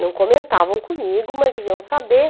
Não comentavam comigo, mas deviam saber.